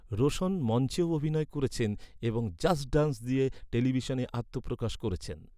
রোশন মঞ্চেও অভিনয় করেছেন এবং ‘জাস্ট ডান্স’ দিয়ে টেলিভিশনে আত্মপ্রকাশ করেছেন।